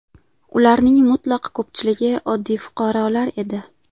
Ularning mutlaq ko‘pchiligi oddiy fuqarolar edi.